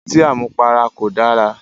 Ọtí àmupara kò dára